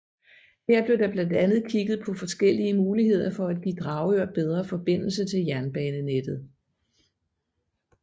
Her blev der blandt andet kigget på forskellige muligheder for at give Dragør bedre forbindelse til jernbanenettet